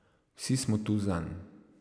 Vsi smo tu zanj.